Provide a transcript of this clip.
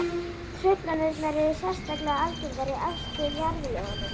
Truflanirnar eru sérstaklega algengar í efstu jarðlögunum.